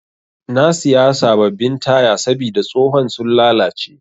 Na siya sabbabin taya sabida tsohon sun lallace.